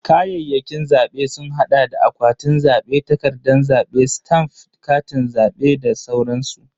Kayayyakin zabe sun hada da akwatin zabe, takardan zabe, stamf, Katin zabe da sauransu.